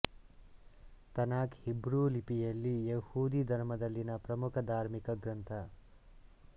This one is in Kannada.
ತನಾಕ್ ಹೀಬ್ರೂ ಲಿಪಿಯಲ್ಲಿ ಯಹೂದಿ ಧರ್ಮದಲ್ಲಿನ ಪ್ರಮುಖ ಧಾರ್ಮಿಕ ಗ್ರಂಥ